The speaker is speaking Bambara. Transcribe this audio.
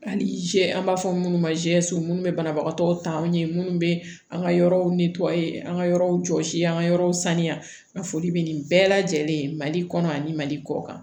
Hali an b'a fɔ minnu ma minnu bɛ banabagatɔw ta ɲɛ munnu bɛ an ka yɔrɔw an ka yɔrɔw jɔsi an ka yɔrɔw sanuya foli bɛ nin bɛɛ lajɛlen ye mali kɔnɔ ani mali kɔ kan